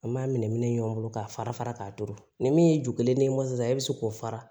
An b'a minɛ minɛ ɲɔgɔn bolo k'a fara fara ka turu ni min ye ju kelen ne ye sisan e bɛ se k'o fara